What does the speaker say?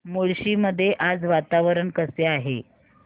मुळशी मध्ये आज वातावरण कसे आहे